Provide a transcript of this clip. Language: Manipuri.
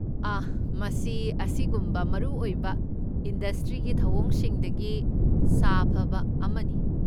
ꯑꯍ! ꯃꯁꯤ ꯑꯁꯤꯒꯨꯝꯕ ꯃꯔꯨꯑꯣꯏꯕ ꯏꯟꯗꯁꯇ꯭ꯔꯤꯒꯤ ꯊꯧꯑꯣꯡꯁꯤꯡꯗꯒꯤ ꯁꯥꯐꯕ ꯑꯃꯅꯤ꯫